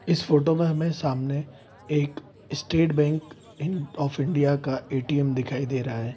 इस फोटो में हमें सामने एक State Bank in of India का ए.टी.एम. दिखाई दे रहा है।